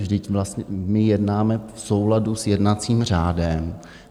Vždyť vlastně my jednáme v souladu s jednacím řádem.